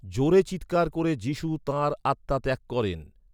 জোরে চিৎকার করে যীশু তাঁর আত্মা ত্যাগ করেন।